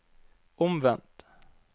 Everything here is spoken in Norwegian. omvendt